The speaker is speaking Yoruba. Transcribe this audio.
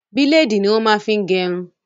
Bílèdì ní wọ́n máa ń fi gẹrun.